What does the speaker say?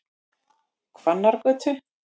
Hrannargötu